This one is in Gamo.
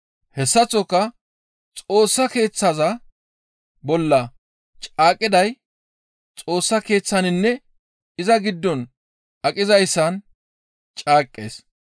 Hessaththoka Xoossa Keeththaza bolla caaqqiday Xoossa Keeththaninne iza giddon aqizayssan caaqqees.